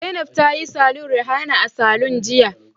Zainab ta yi salon Rihana a saloon jiya